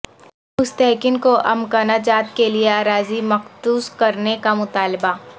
مستحقین کو امکنہ جات کیلئے اراضی مختص کرنے کا مطالبہ